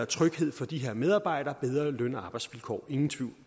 tryghed for de her medarbejdere bedre løn og arbejdsvilkår ingen tvivl